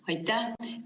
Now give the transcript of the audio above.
Aitäh!